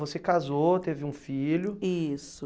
Você casou, teve um filho. Isso.